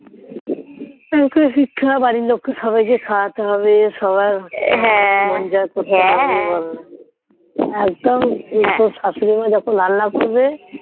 শিখতে হবে বাড়ির লোক কে সবাই কে খাওয়াতে হবে মন সবার জয়ে করতে হবে একদম তোর শাশুড়ি মা যখন রান্না করবে